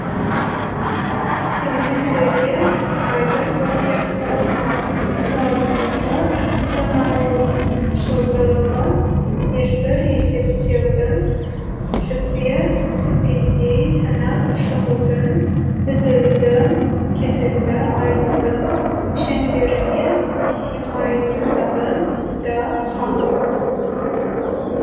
сонымен бірге абайдың көркем форма саласындағы жаңашылдығы ешбір есептеудің жікпе тізгендей санап шығудың үзілді кесілді айтудың шеңберіне симайтындығы да хақ